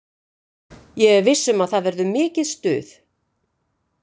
Ég er viss um að það verður mikið stuð.